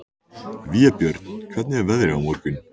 Vébjörn, hvernig er veðrið á morgun?